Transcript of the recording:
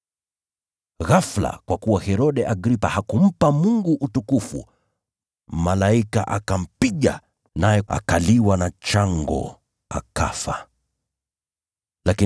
Ghafula, kwa kuwa Herode hakumpa Mungu utukufu, malaika wa Bwana akampiga, naye akaliwa na chango, akafa.